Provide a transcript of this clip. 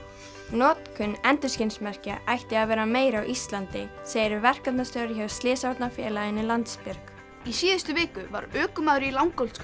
notkun endurskinsmerkja ætti að vera meiri á Íslandi segir verkefnastjóri hjá slysavarnarfélaginu Landsbjörg í síðustu viku var ökumaður í